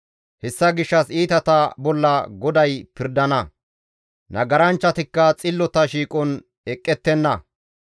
Hessa gishshas iitata bolla GODAY pirdana; nagaranchchatikka xillota shiiqon eqqettenna.